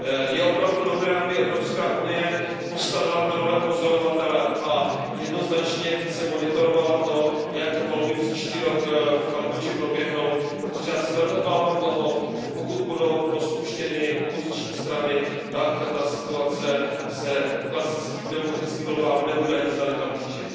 Je opravdu dobré, aby se Evropská unie postavila do role pozorovatele a jednoznačně více monitorovala to, jak volby příští rok v Kambodži proběhnou, protože já se velmi obávám toho, že pokud budou rozpuštěny opoziční strany, tak ta situace se klasickým demokratickým volbám nebude ani zdaleka blížit.